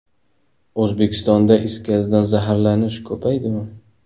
O‘zbekistonda is gazidan zaharlanish ko‘paydimi?.